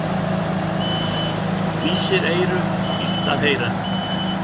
Fýsir eyru illt að heyra.